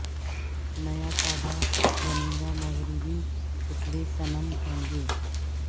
نیا کعبہ بنے گا مغربی پتلے صنم ہوں گے